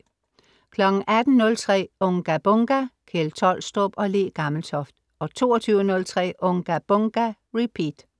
18.03 Unga Bunga! Kjeld Tolstrup og Le Gammeltoft 22.03 Unga Bunga! Repeat